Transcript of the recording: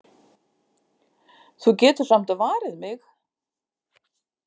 Þú getur samt varið mig.